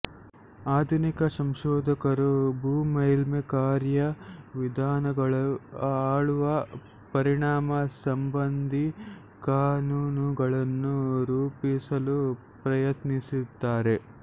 ಆಧುನಿಕ ಸಂಶೋಧಕರು ಭೂ ಮೇಲ್ಮೈ ಕಾರ್ಯ ವಿಧಾನಗಳನ್ನು ಆಳುವ ಪರಿಣಾಮ ಸಂಬಂಧಿ ಕಾನೂನುಗಳನ್ನು ರೂಪಿಸಲು ಪ್ರಯತ್ನಿಸುತ್ತಾರೆ